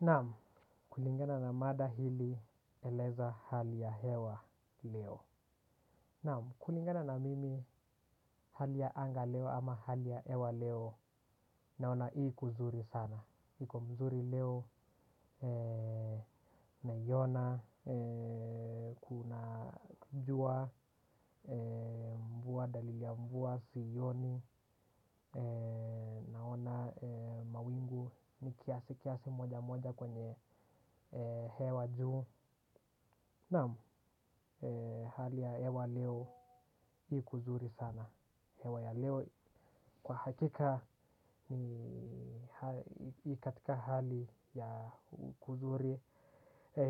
Naam, kulingana na mada hili eleza hali ya hewa leo. Naam, kulingana na mimi hali ya anga leo ama hali ya hewa leo naona ii kuzuri sana. Iko mzuri leo, naiona, kuna jua, mvua, dalili ya mvua, siioni, naona mawingu ni kiasi kiasi moja moja kwenye hewa juu naam, hali ya hewa leo ikuzuri sana hewa ya leo kwa hakika ni hai ni katika hali ya kuzuri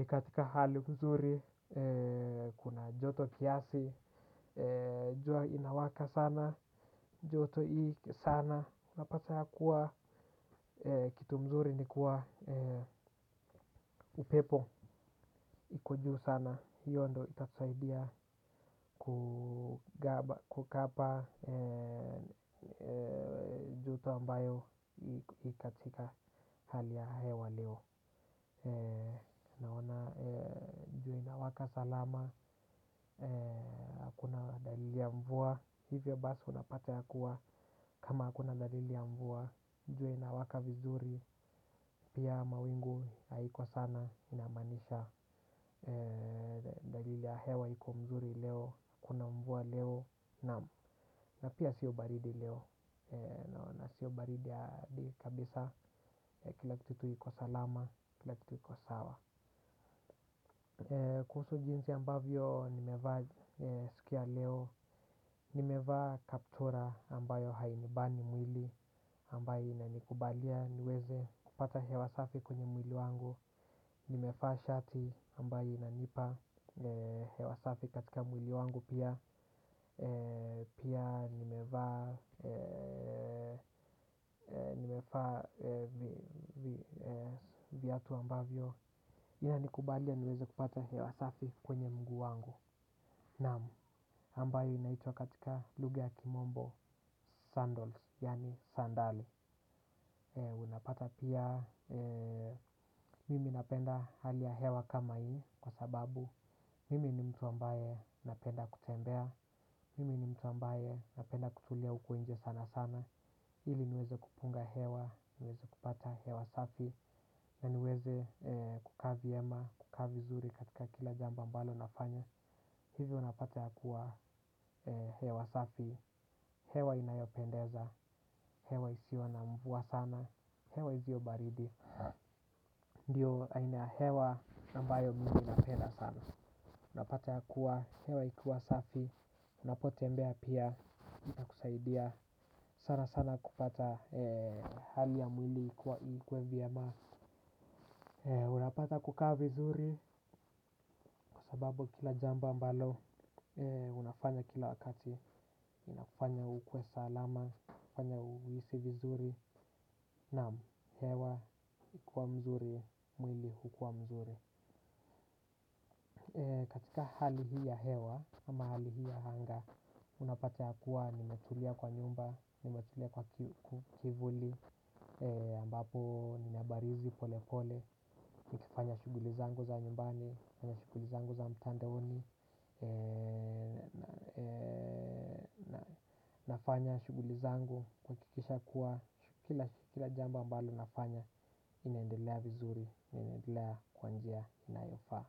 katika hali kuzuri kuna joto kiasi jua inawaka sana, joto i sana napata ya kuwa kitu mzuri ni kuwa upepo. Iko juu sana, hiyo ndio itatusaidia kugaba kukapa. Joto ambayo ikatika hali ya hewa leo naona jua inawaka salama hakuna dalili ya mvua hivyo basi unapata ya kuwa kama hakuna dalili ya mvua jua inawaka vizuri pia mawingu haiko sana inamaanisha dalili ya hewa iko mzuri leo hakuna mvua leo naam na pia sio baridi leo naona sio baridi hadi kabisa kila kitu iko salama kila kitu iko sawa. Kuhusu jinsi ambavyo nimevaa siku ya leo nimevaa kaptura ambayo hainibani mwili ambayo inanikubalia niweze kupata hewa safi kwenye mwili wangu nimevaa shati ambayo inanipa hewa safi katika mwili wangu pia pia nimevaa nimevaa vi viatu ambavyo inanikubalia niweze kupata hewa safi kwenye mguu wangu naam, ambayo inaitwa katika lugha ya kimombo sandals yaani sandali unapata pia mimi napenda hali ya hewa kama hii kwa sababu mimi ni mtu ambaye napenda kutembea mimi ni mtu ambaye napenda kutulia huku nje sana sana ili niweze kupunga hewa, niweze kupata hewa safi na niweze kukaa vyema, kukaa vizuri katika kila jambo mbalo nafanya hivyo napata ya kuwa hewa safi hewa inayopendeza, hewa isiyo na mvua sana hewa isiyo baridi. Ndio aina ya hewa ambayo mimi napenda sana napata ya kuwa, hewa ikuwa safi unapotembea pia inakusaidia sana sana kupata hali ya mwili kuwa ikuwe vyema. Unapata kukaa vizuri kwa sababu kila jambo ambalo unafanya kila wakati inakufanya ukue salama, inafanya uhisi vizuri naam hewa ikiwa mzuri, mwili hukua mzuri. Katika hali hii ya hewa ama hali hii ya anga unapata ya kuwa nimetulia kwa nyumba, nimetulia kwa kivuli ambapo nina barizi pole pole nikifanya shughuli zangu za nyumbani, nikifanya shughuli zangu za mtandaoni. Nafanya shughuli zangu kuhakikisha kuwa kila kila jambo ambalo nafanya inaendelea vizuri, inaendelea kwa njia inayofaa.